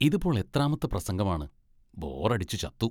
ഇതിപ്പോൾ എത്രാമത്തെ പ്രസംഗമാണ്, ബോറടിച്ച് ചത്തു.